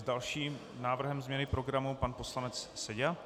S dalším návrhem změny programu pan poslanec Seďa.